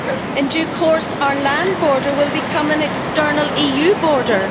In due course our land border will become an external EU border.